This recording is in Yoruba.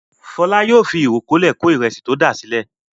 Fọlá yóò fi ìkọ́lé kó ìrẹsì tí o dà sílẹ̀.